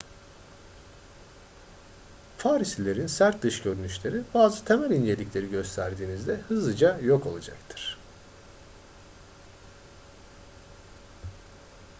parislilerin sert dış görünüşleri bazı temel incelikleri gösterdiğinizde hızlıca yok olacaktır